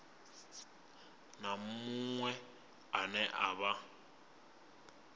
na muṅwe ane a vha